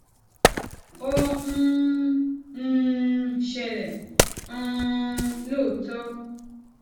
ó ń um ṣẹlè um lóòótó